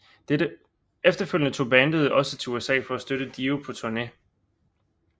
Efterfølgende tog bandet også til USA for at støtte Dio på turné